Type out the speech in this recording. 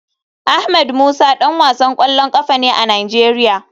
Ahmed musa dan wasan kwallon kafa ne a nigeria.